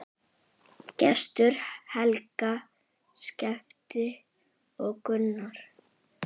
Gestur, Helga, Skafti og Gunnar.